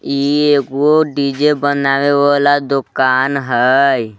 ई एगो D J बनावे वला दोकान हई।